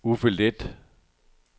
Uffe Leth